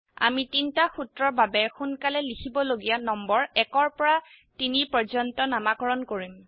আমি তিনটা সূত্ৰৰ বাবে সোনকালে লিখিবলগিয়া নম্বৰ ১ পৰা ৩ পৰ্যন্ত নামাকৰন কৰিম